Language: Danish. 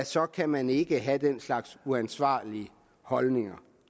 så kan man ikke have den slags uansvarlige holdninger